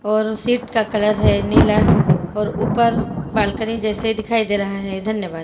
और सीट का कलर है नीला और ऊपर बालकनी जैसे दिखाई दे रहा है धन्यवाद।